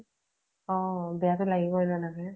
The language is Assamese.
অ বেয়া তো লাগিবৈ তেনেকে ।